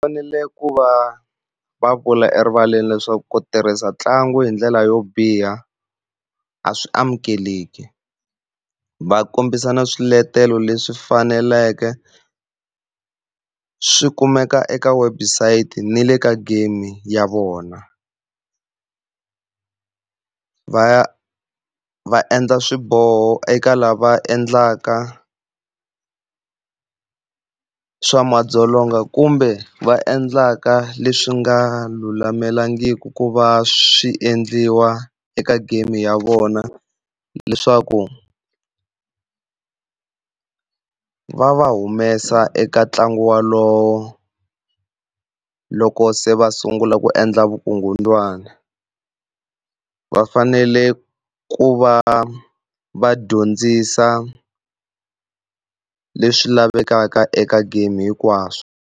Fanele ku va va vula erivaleni leswaku ku tirhisa ntlangu hi ndlela yo biha a swi amukeleki. Va kombisa na swiletelo leswi faneleke swi kumeka eka website ni le ka game ya vona. Va va endla swiboho eka lava endlaka swa madzolonga kumbe va endlaka leswi nga lulamelangiki ku va swi endliwa eka game ya vona leswaku va va humesa eka ntlangu wolowo loko se va sungula ku endla vukungundzwana. Va fanele ku va va dyondzisa leswi lavekaka eka game hinkwaswo.